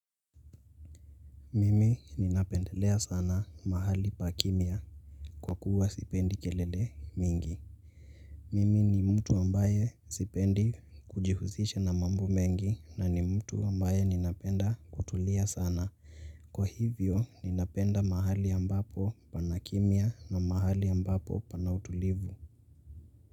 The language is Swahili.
Mimi ninapendelea sana mahali pa kimya kwa kuwa sipendi kelele mingi. Mimi ni mtu ambaye sipendi kujihusisha na mambo mengi na ni mtu ambaye ninapenda kutulia sana kwa hivyo ninapenda mahali ambapo pana kimya na mahali ambapo pana utulivu